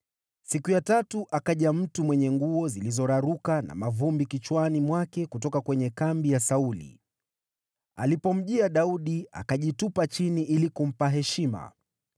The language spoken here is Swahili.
Siku ya tatu akaja mtu mwenye nguo zilizoraruka na mavumbi kichwani mwake kutoka kwenye kambi ya Sauli. Alipomjia Daudi, akajitupa chini ili kumpa heshima.